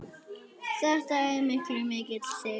Þetta var okkur mikill sigur.